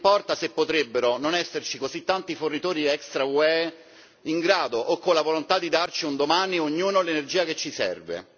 non importa se potrebbero non esserci così tanti fornitori extra UE in grado o con la volontà di dare, un domani, ad ognuno l'energia che gli serve